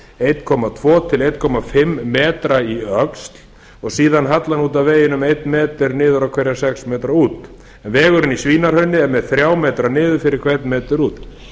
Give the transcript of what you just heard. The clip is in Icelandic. eitt komma tvö til eins og hálfan metra í öxl og síðan hallar út af veginum einn metra niður á hverja sex metra út en vegurinn í svínahrauni er með þrjá metra niður fyrir hvern metra út